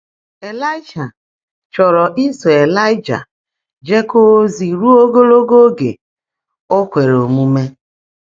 Ị́láị́shà chọ́ọ́ró ísó Ị́láị́jà jèkọ́ọ́ ózí rúó ógoòlógo óge ó kwèèré ómuumé